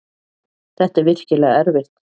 Þetta er virkilega erfitt.